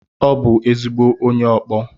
Ọ bụ ezigbo onye ọkpọ.